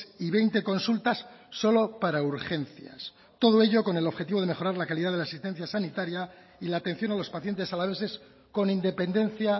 y veinte consultas solo para urgencias todo ello con el objetivo de mejorar la calidad de la asistencia sanitaria y la atención a los pacientes alaveses con independencia